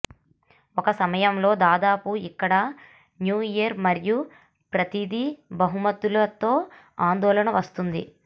ఒక సమయంలో దాదాపు ఇక్కడ న్యూ ఇయర్ మరియు ప్రతిదీ బహుమతులు తో ఆందోళన వస్తుంది